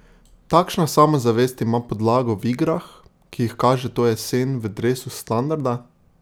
Takšna samozavest ima podlago v igrah, ki jih kaže to jesen v dresu Standarda?